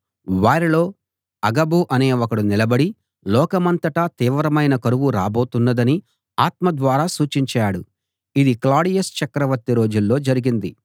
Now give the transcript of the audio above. వారిలో అగబు అనే ఒకడు నిలబడి లోకమంతటా తీవ్రమైన కరువు రాబోతున్నదని ఆత్మ ద్వారా సూచించాడు ఇది క్లాడియస్ చక్రవర్తి రోజుల్లో జరిగింది